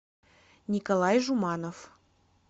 николай жуманов